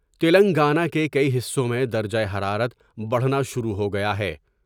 تلنگانہ کے کئی حصوں میں درجہ حرارت بڑھنا شروع ہو گیا ہے ۔